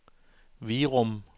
Virum